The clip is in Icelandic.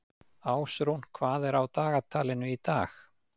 Ásrún, hvað er á dagatalinu í dag?